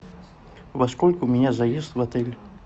во сколько у меня заезд в отель